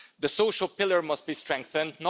The social pillar must be strengthened.